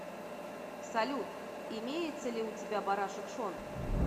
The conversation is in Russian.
салют имеется ли у тебя барашек шон